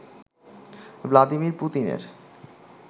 Vladimir পুতিনের